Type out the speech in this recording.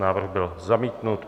Návrh byl zamítnut.